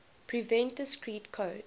prevent discrete code